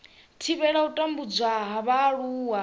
thivhela u tambudzwa ha vhaaluwa